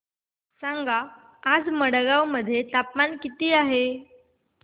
सांगा आज मडगाव मध्ये तापमान किती आहे